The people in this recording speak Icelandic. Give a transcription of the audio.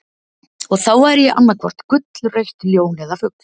Og þá væri ég annaðhvort gullrautt ljón eða fugl.